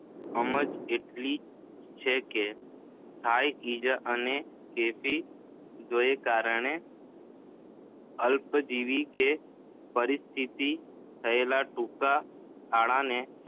સમજ મેળવી જ છે કે થાક ઇજા અને કેફી દ્રવ્યને કારણે અલ્પજીવી કે પરિસ્થિતિગત થયેલા ટૂંકા ગાળાના